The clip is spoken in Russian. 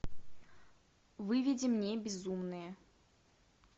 выведи мне безумные